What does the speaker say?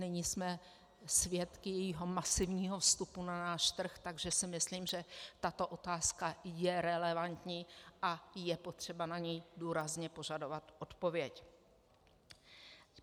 Nyní jsme svědky jejího masivního vstupu na náš trh, takže si myslím, že tato otázka je relevantní a je potřeba na ni důrazně požadovat odpověď.